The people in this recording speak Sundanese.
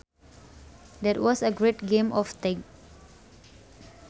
That was a great game of tag